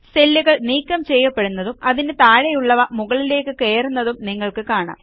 സെല്ലുകൾ നീക്കം ചെയ്യപ്പെടുന്നതും അതിനു താഴെയുള്ളവ മുകളിലേയ്ക്ക് കയറുന്നതും നിങ്ങൾക്ക് കാണാം